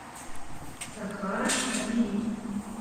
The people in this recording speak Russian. сахара набери